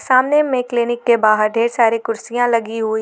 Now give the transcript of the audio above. सामने में क्लीनिक के बाहर ढेर सारी कुर्सियां लगी हुई--